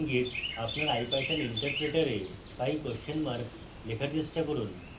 ইঙ্গিত: আপনার ipython interpreter pie question mark লেখার চেষ্টা করুন